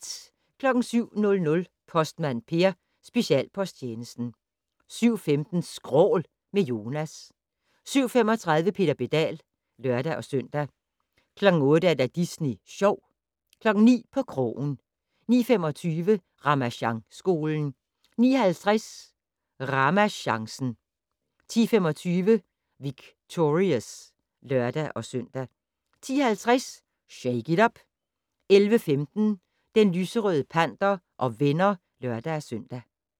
07:00: Postmand Per: Specialposttjenesten 07:15: Skrål - med Jonas 07:35: Peter Pedal (lør-søn) 08:00: Disney Sjov 09:00: På krogen 09:25: Ramasjangskolen 09:50: RamaChancen 10:25: Victorious (lør-søn) 10:50: Shake it up! 11:15: Den lyserøde panter og venner (lør-søn)